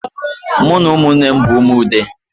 M na umunnem bu umu Ude